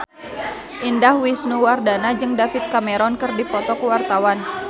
Indah Wisnuwardana jeung David Cameron keur dipoto ku wartawan